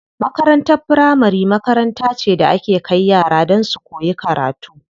Makarantar firamari makaranta ce da ake kai yara don su koyi karatu.